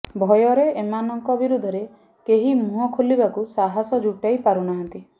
ଭୟରେ ଏମାନଙ୍କ ବିରୁଦ୍ଧରେ କେହି ମୁହଁ ଖୋଲିବାକୁ ସାହାସ ଜୁଟାଇପାରୁନାହାନ୍ତି